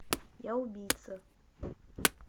я убийца